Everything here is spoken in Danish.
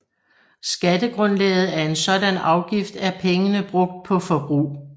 Skattegrundlaget af en sådan afgift er pengene brugt på forbrug